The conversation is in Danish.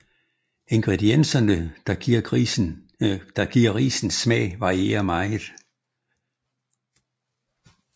Ingredienserne der giver risen smag varierer meget